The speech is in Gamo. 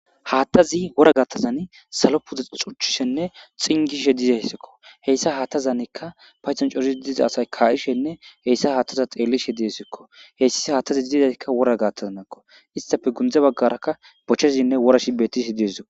haattazi wora gattazan salo puda xuchchisenne xingishe dizayssekko heyssa haattazanekka payxon coris diza asay kaa7ishenne heyssa haattaza xeellishe diesikko heyssis haattazi dizakka wora gaattazanakko istafe gundza baggarakka bochchezinne wora shi bettisi disdko